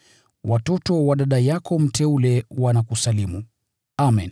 Watoto wa dada yako mteule wanakusalimu. Amen.